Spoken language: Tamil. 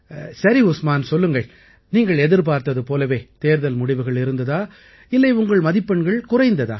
சரி உஸ்மான் சொல்லுங்கள் நீங்கள் எதிர்பார்த்தது போலவே தேர்வு முடிவுகள் இருந்ததா இல்லை உங்கள் மதிப்பெண்கள் குறைந்ததா